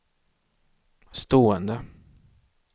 stående